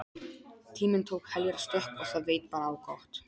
Tíminn tók heljarstökk og það veit bara á gott.